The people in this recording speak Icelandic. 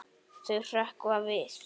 Þau hrökkva við.